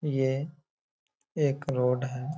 ये एक रोड है।